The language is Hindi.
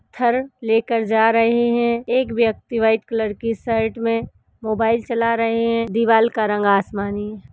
त्थर लेकर जा रहे हैं। एक व्यक्ति वाइट कलर की शर्ट में मोबाइल चला रहे हैं। दीवाल का रंग आसमानी है।